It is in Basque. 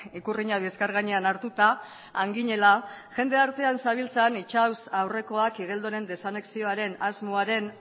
ikurrina bizkar gainean hartuta han ginela jende artean zebiltzan itsas aurrekoak igeldoren desanexioaren asmoaren